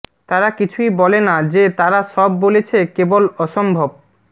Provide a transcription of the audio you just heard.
তারা কিছুই বলে না যে তারা সব বলছে কেবল অসম্ভব